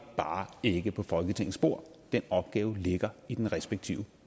bare ikke på folketingets bord den opgave ligger i den respektive